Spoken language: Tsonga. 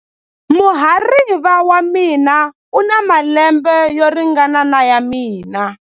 Muhariva wa mina u na malembe yo ringana na ya mina.